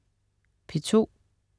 P2: